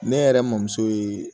Ne yɛrɛ mɔmuso ye